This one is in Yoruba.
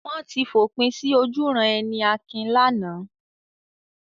Wọ́n ti fòpin sí ojúuran-ẹni Akin lánàá.